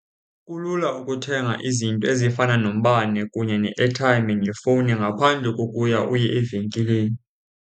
Kulula ukuthenga izinto ezifana nombane kunye ne-airtime ngefowuni ngaphandle kokuya uye evenkileni.